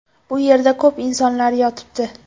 Bu yerda ko‘p insonlar yotibdi.